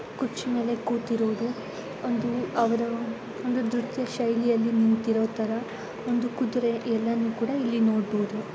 ಕುರ್ಚಿ ಮೇಲೆ ಕುತಿರೋದು ಒಂದು ಅವರ ಒಂದು ದೃತಿಯ ಶೈಲಿಯಲ್ಲಿ ನಿಂತಿರೋತರ ಒಂದು ಕುದುರೆ ಎಲ್ಲನು ಕೂಡ ಇಲ್ಲಿ ನೊಡಬೋದು .